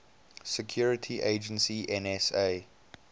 security agency nsa